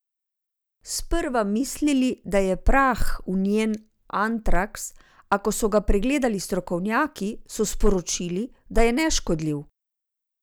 Sprva mislili, da je prah v njen antraks, a ko so ga pregledali strokovnjaki, so sporočili, da je neškodljiv.